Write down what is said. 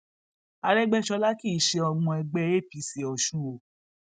àrègbèsọlá kì í ṣe ọmọ ẹgbẹ apc ọṣun o